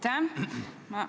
Aitäh!